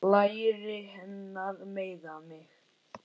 Læri hennar meiða mig.